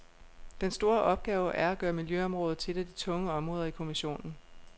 Den store opgave er at gøre miljøområdet til et af de tunge områder i kommissionen.